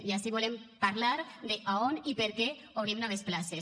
i ací volem parlar d’a on i per què obrim noves places